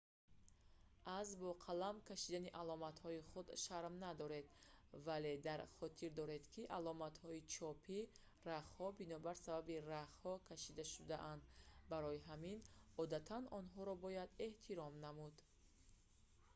аз бо қалам кшидани аломатҳои худ шарм надоред вале дар хотир доред ки аломатҳои чопии рахҳо бинобар сабаби рахҳо кашида шудаанд барои ҳамин одатан онҳоро бояд эҳтиром намуд